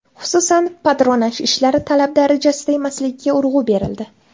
Xususan, patronaj ishlari talab darajasida emasligiga urg‘u berildi.